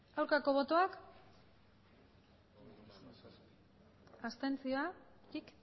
aurkako botoak abstentzioak